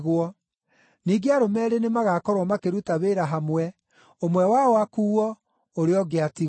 (Ningĩ arũme eerĩ nĩmagakorwo makĩruta wĩra hamwe, ũmwe wao akuuo, ũrĩa ũngĩ atigwo.)”